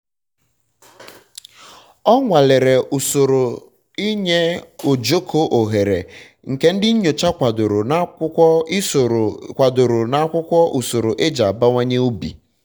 ọ nwalere usoro inye ojoko ohere nke ndi nyocha kwadoro n'akwụkwọ usoro kwadoro n'akwụkwọ usoro e ji abawanye um ubi